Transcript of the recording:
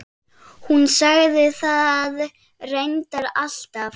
Hún sagði það reyndar alltaf.